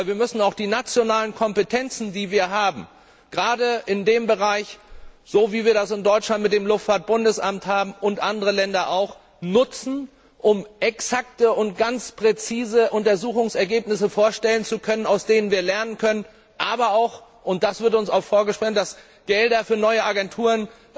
Aber wir müssen auch die nationalen Kompetenzen, die wir gerade in dem Bereich haben so wie wir das in Deutschland mit dem Luftfahrtbundesamt haben, und andere Länder auch nutzen, um exakte und ganz präzise Untersuchungsergebnisse vorstellen zu können, aus denen wir lernen können, aber auch und da wird uns auch vorgehalten, dass Gelder für neue Agenturen